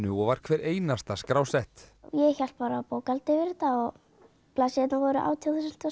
og var hver einasta skrásett ég hélt bara bókhald yfir þetta og blaðsíðurnar voru átján þúsund og